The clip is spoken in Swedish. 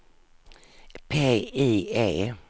PIE